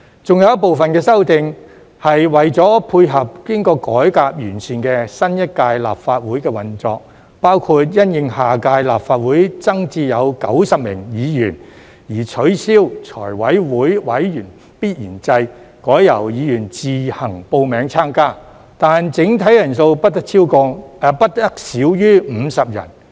還有一部分的修訂是為了配合經過改革完善的新一屆立法會的運作，包括因應下屆立法會增至90名議員而取消財務委員會委員必然制，改由議員自行報名參加，但整體人數不得少於50人。